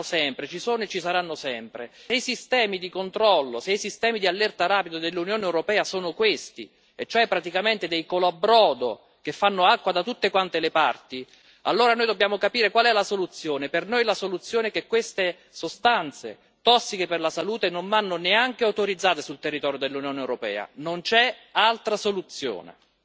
Allora noi diciamo che le frodi ci sono e ci saranno sempre ma se i sistemi di controllo e di allerta rapida dell'Unione europea sono questi e cioè praticamente dei colabrodo che fanno acqua da tutte le parti allora noi dobbiamo capire qual è la soluzione per noi la soluzione è che queste sostanze tossiche per la salute non vadano neanche autorizzate sul territorio dell'Unione europea. Non c'è altra soluzione.